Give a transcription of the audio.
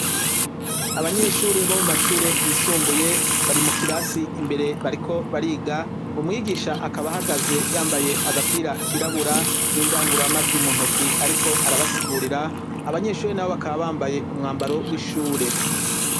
Abanyeshure bo mu mashure yisumbuye, bari mu kirasi imbere bariko bariga, umwigisha akaba ahagaze yambaye agapira kirabura n'indangururamajwi mu ntoki ariko arabasigurira. Abanyeshuri nabo bakaba bambaye umwambaro w'ishure.